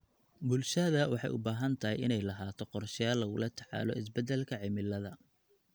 Bulshada waxay u baahan tahay inay lahaato qorshayaal lagula tacaalo isbedelka cimilada.